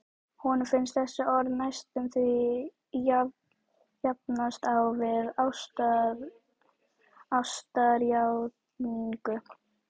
Honum finnst þessi orð næstum því jafnast á við ástarjátningu.